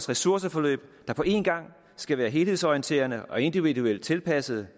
ressourceforløb der på en gang skal være helhedsorienterede og individuelt tilpassede